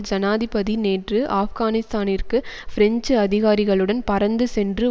ஜனாதிபதி நேற்று ஆப்கானிஸ்தானிற்கு பிரெஞ்சு அதிகாரிகளுடன் பறந்து சென்று